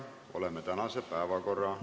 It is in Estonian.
Oleme tänase päevakorra läbinud.